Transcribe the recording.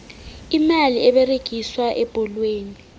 imali eberegiswa ebholweni